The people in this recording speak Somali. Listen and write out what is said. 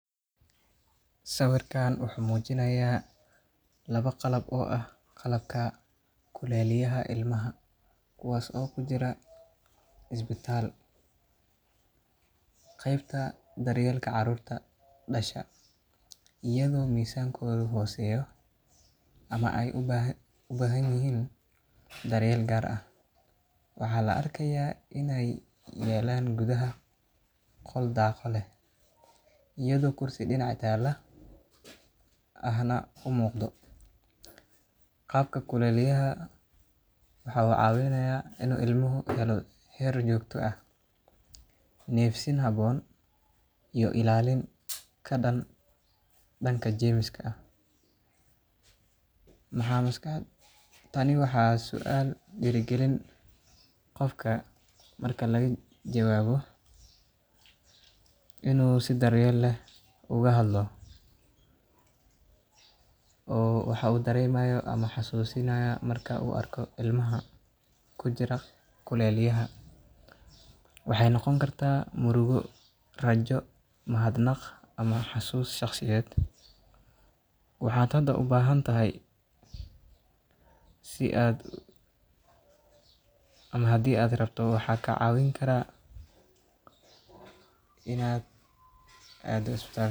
Sawirkan wuxuu muujinayaa labo qalab oo ah kuleeliyayaal loogu talagalay ilmaha cusub, kuwaas oo ku yaalla qeybta daryeelka carruurta ee isbitaalka. Waxaa si gaar ah loogu adeegsadaa ilmaha dhashay iyadoo miisaankoodu hooseeyo ama u baahan daryeel gaar ah. Qalabkan kuleeliyaha ah waxa uu leeyahay qol daaqado leh iyo meelo dhinacyada ah oo qalab kale lagu rakibo karo. Waxaa si cad u muuqata in gudaha qalabka la geliyo ilmaha si uu u helo heer kulayl joogto ah, nafaqo habboon, iyo ilaalin ka dhan ah jeermiska. Waxaa kale oo muuqata in deegaanka uu yahay mid nadaafad ahaan sareeya, taas oo muhiim u ah caafimaadka ilmaha jilicsan. Sawirkani wuxuu xasuusinayaa muhiimadda ay leedahay daryeelka caafimaad ee ilmaha, wuxuuna sidoo kale abuuri karaa dareen murugo, naxariis, ama rajo. Qofka arkaaya sawirka laga yaabo inuu ka fikiro xaalad caafimaad oo gaar ah ama uu dareemo in uu doonayo in uu caawiyo ama wax ka barto adeegyada caafimaadka.